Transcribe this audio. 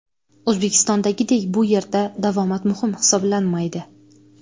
O‘zbekistondagiday bu yerda davomat muhim hisoblanmaydi.